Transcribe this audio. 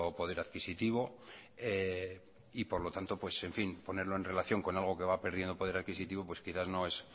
poder adquisitivo y por lo tanto ponerlo en relación con algo que va perdiendo poder adquisitivo quizá no es